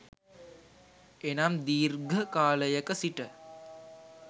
එනම් දීර්ඝ කාලයක සිට